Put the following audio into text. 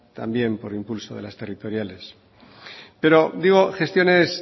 también por impulso de las territoriales pero digo gestiones